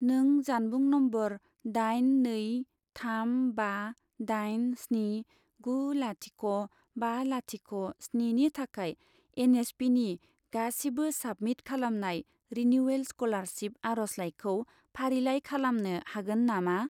नों जानबुं नम्बर दाइन नै थाम बा दाइन स्नि गु लाथिख' बा लाथिख' स्नि नि थाखाय एन.एस.पि.नि गासिबो साबमिट खालामनाय रिनिउयेल स्कलारसिप आरजलाइखौ फारिलाइ खालामनो हागोन नामा?